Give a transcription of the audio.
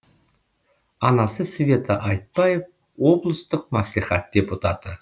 анасы света айтбаев облыстық мәслихат депутаты